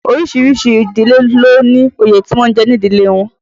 Orísìírísìí ìdílé ló ní òye tí wọ́n ń jẹ ní ìdílé wọn